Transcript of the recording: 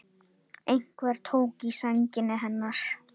Einhver tók í sængina hennar.